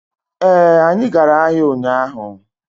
ee, anyi gara ahia unyahu